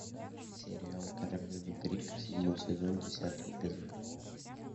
сериал королевы крика седьмой сезон десятый эпизод